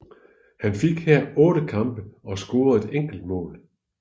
Han fik her otte kampe og scorede et enkelt mål